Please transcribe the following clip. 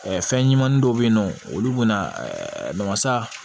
Fɛn ɲɛnamani dɔw bɛ ye nɔ olu bɛna masa